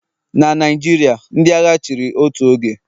Na Naijiria, ndị agha chịrị otu oge